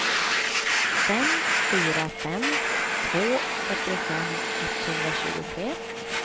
fem fyra fem två fyrtiofem etthundratjugotre